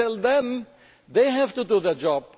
Tell them they have to do their job